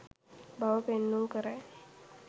බව පෙන්නුම් කරයි.